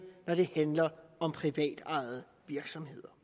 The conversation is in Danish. når det handler om privatejede virksomheder